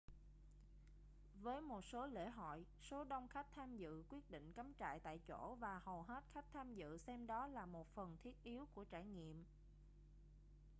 với một số lễ hội số đông khách tham dự quyết định cắm trại tại chỗ và hầu hết khách tham dự xem đó là một phần thiết yếu của trải nghiệm